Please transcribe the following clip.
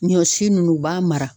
Ɲɔ si nunnu u b'a mara